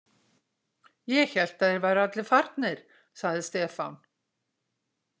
Ég hélt að þeir væru allir farnir, sagði Stefán.